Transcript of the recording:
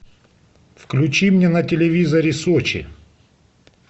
включи мне на телевизоре сочи